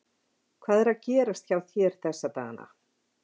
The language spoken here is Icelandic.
Hvað er að gerast hjá þér þessa dagana?